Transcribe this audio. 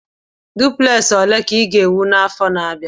Dupleksi ole ka ị ga-ewu n'afọ na-abịa?